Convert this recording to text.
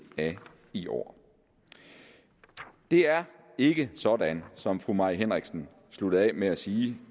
af i år det er ikke sådan som fru mai henriksen sluttede af med at sige